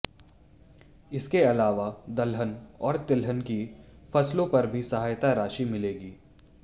इसके अलावा दलहन और तिलहन की फसलों पर भी सहायता राशि मिलेगी